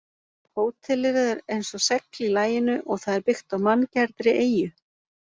Hótelið er eins og segl í laginu og það er byggt á manngerðri eyju.